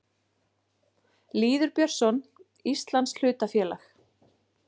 Lýður Björnsson: Íslands hlutafélag.